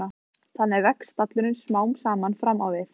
Þannig vex stallurinn smám saman fram á við.